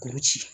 Kuru ci